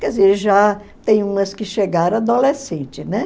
Quer dizer, já tem umas que chegaram adolescente, né?